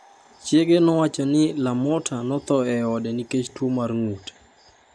Chiege nowacho ni LaMotta notho e ode nikech tuo mar ng’ut.